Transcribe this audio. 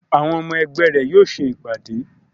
Àwọn ọmọ ẹgbẹ́ rẹ̀ yóò ṣe ìpàdé